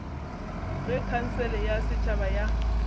ge khansele ya setšhaba ya